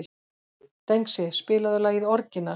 Dengsi, spilaðu lagið „Orginal“.